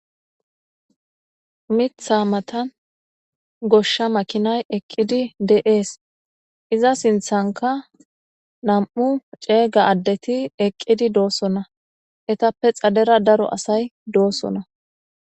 mitha matan goshsha makinay eqqidi de7ees iza sinthanka nam7u ceega addeti eqqidi doossona etappe xadera daro asay doosona